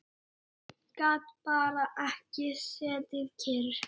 Gat bara ekki setið kyrr.